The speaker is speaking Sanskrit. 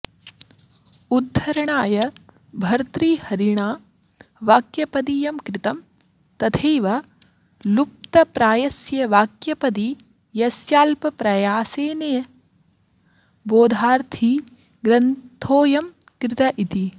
द्धरणाय भर्तृहरिणा वाक्यपदीयं कृतं तथैव लुप्तप्रायस्य वाक्यपदीयस्याल्पायासेन बोधार्थी ग्रन्थोऽयं कृत इति